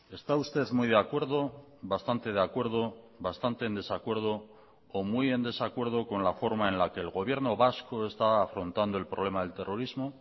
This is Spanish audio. está usted muy de acuerdo bastante de acuerdo bastante en desacuerdo o muy en desacuerdo con la forma en la que el gobierno vasco está afrontando el problema del terrorismo